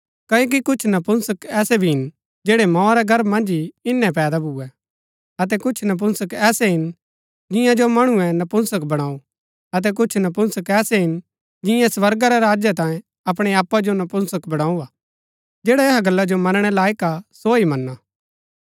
क्ओकि कुछ नपुंसक ऐसै भी हिन जैड़ै मोआ रै गर्भ मन्ज ही इन्‍नै पैदा भुऐ अतै कुछ नपुंसक ऐसै हिन जिंआ जो मणुऐ नपुंसक बणाऊ अतै कुछ नपुंसक ऐसै हिन जिन्यैं स्वर्गा रै राज्य तांयें अपणै आपा जो नपुंसक बणाऊ हा जैडा ऐहा गल्ला जो मनणै लायक हा सो ही मना